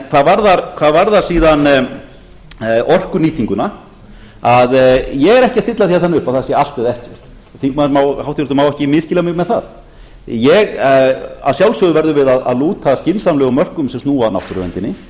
hvað varðar orkunýtinguna ég er ekki að stilla því þannig upp að það sé allt eða ekkert háttvirtur þingmaður má ekki misskilja mig með það að sjálfsögðum verðum við að lúta skynsamlegum mörkum sem snúa að náttúruverndinni